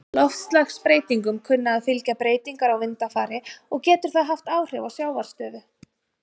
Loftslagsbreytingum kunna að fylgja breytingar á vindafari, og getur það haft áhrif á sjávarstöðu.